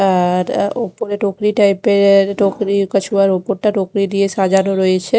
ওপরে টোকরি টাইপে এর টোকরি ওপরটা টোকরি দিয়ে সাজানো রয়েছে ।